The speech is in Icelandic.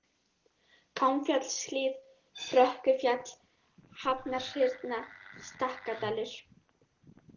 Gangfjallshlíð, Frökkufjall, Hafnarhyrna, Stakkadalur